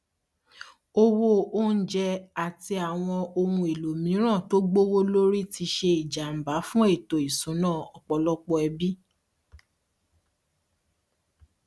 owó oúnjẹ àti àwọn ohun èlò mìíràn tó gbówó lórí tí ṣe ìjàmbá fún ètò ìṣúná ọpọlọpọ ẹbí